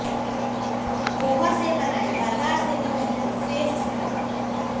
पोहा से बनाएं बाजार से भी बेहतर फेस स्क्रब